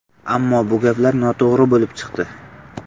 Ammo bu gaplar noto‘g‘ri bo‘lib chiqdi.